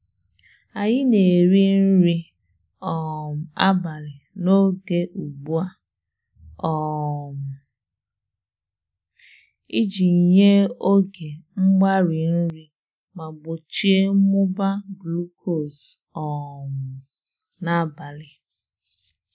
Anyị na-eri nri um abalị n'oge ugbu a um iji nye oge mgbari nri ma gbochie mmụba glukos um n'abalị.